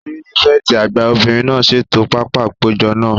Pírífẹ̀tì àgbà obìnrin náà ṣètò pápá àpéjọ náà